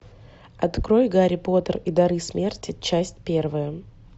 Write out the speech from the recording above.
открой гарри поттер и дары смерти часть первая